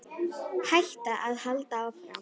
Hætta eða halda áfram?